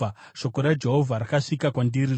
Shoko raJehovha rakasvika kwandiri richiti,